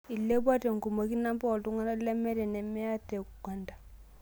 Elepwa te ngumoki namba ooltuk lemeeta inemaya te uganda